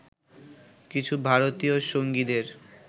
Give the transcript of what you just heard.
কিছু ভারতীয় সঙ্গীদের